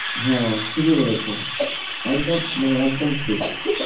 হ্যাঁ ঠিকই বলেছ একদম মানে একদম ঠিক।